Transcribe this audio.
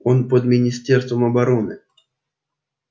он под министерством обороны